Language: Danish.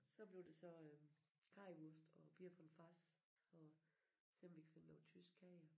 Så bliver det så øh currywurst og Bier vom Fass og se om vi kan finde noget tysk kage